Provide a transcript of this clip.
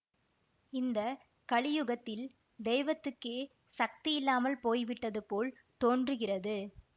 இந்த கலியுகத்தில் தெய்வத்துக்கே சக்தி இல்லாமல் போய் விட்டது போல் தோன்றுகிறது